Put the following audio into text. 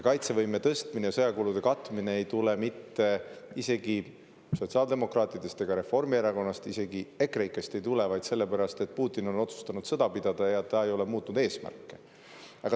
Kaitsevõime tõstmise ja sõjakulude katmise ei tule mitte sotsiaaldemokraatide seast ega Reformierakonnast, isegi EKREIKE‑st mitte, vaid sellepärast, et Putin on otsustanud sõda pidada ja ta ei ole muutnud oma eesmärke.